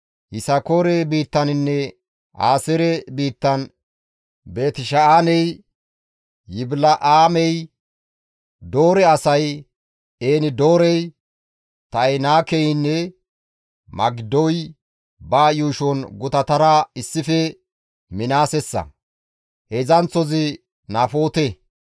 Yisakoore biittaninne Aaseere biittan Beeti-Sha7aaney, Yibila7aamey, Doore asay, En-Doorey, Ta7inaakeynne Magiddoy ba yuushon gutatara issife Minaasessa; heedzdzanththozi Nafoote.